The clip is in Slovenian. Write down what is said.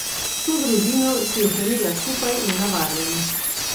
Vso družino si ohranila skupaj in na varnem.